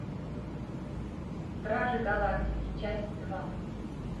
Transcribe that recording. стражи галактики часть два